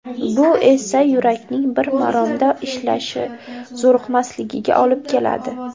Bu esa yurakning bir maromda ishlashi, zo‘riqmasligiga olib keladi.